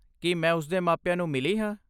ਕੀ ਮੈਂ ਉਸ ਦੇ ਮਾਪਿਆਂ ਨੂੰ ਮਿਲੀ ਹਾਂ?